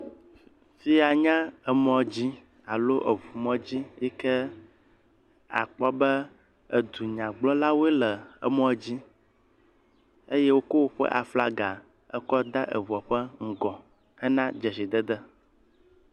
Fi ya nye emɔ dzi alo eŋumɔdzi yi ke akpɔ be edunyagblɔlawoe le emɔdzi eye woko woƒe aflaga ekɔ de eŋua ƒe ŋgɔ hene dzesidede.